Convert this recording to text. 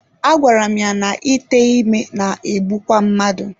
Agwara m ya na ite ime na-egbukwa mmadụ.